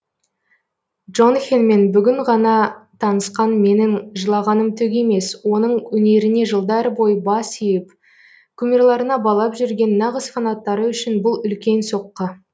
джонхенмен бүгін ғана таңысқан менің жылағаным түк емес оның өнеріне жылдар бойы бас иіп кумирларына балап жүрген нағыз фанаттары үшін бұл үлкен соққы